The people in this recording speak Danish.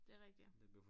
Det er rigtig